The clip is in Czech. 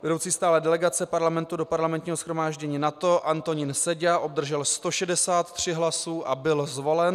Vedoucí stálé delegace Parlamentu do Parlamentního shromáždění NATO - Antonín Seďa obdržel 163 hlasy a byl zvolen.